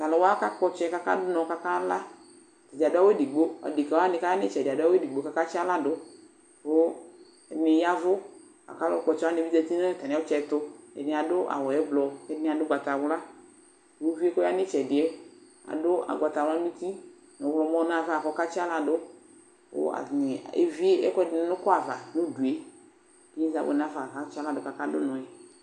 Tʋ alʋ wa kakpɔ ɔtsɛ kʋ akadʋ ʋnɔ kʋ akala Ata dza adʋ awʋ edigbo Adekǝ wanɩ kʋ aya nʋ ɩtsɛdɩ adʋ awʋ edigbo kʋ akatsɩ aɣla dʋ ɛdɩnɩ ya ɛvʋ la kʋ alʋkpɔ ɔtsɛ wanɩ bɩ zati nʋ atamɩ ɔtsɛ tʋ Ɛdɩnɩ adʋ awʋ ɛblɔ kʋ ɛdɩnɩ adʋ ʋgbatawla Kʋ uvi yɛ kʋ ɔya nʋ ɩtsɛdɩ yɛ adʋ ʋgbatawla nʋ uti nʋ ɔɣlɔmɔ nʋ ava kʋ ɔkatsɩ aɣla dʋ, kʋ atanɩ evie ɛkʋ dɩnɩ nʋ ʋkʋ ava nʋ udu yɛ kʋ inyesɛ abʋ nafa kʋ akatsɩ aɣla dʋ kʋ akadʋ ʋnɔ yɛ